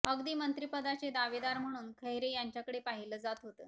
अगदी मंत्रीपदाचे दावेदार म्हणून खैरे यांच्याकडे पाहिलं जातं होतं